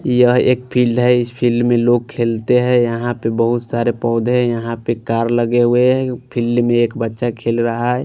यह एक फील्ड है इस फील्ड में लोग खेलते हैं यहाँ पे बहुत सारे पौधे हैं यहाँ पे कार लगे हुए हैं फील्ड में एक बच्चा खेल रहा है।